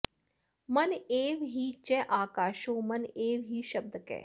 मन एव हि चाकाशो मन एव हि शब्दकः